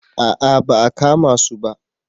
A'a ba a kama su ba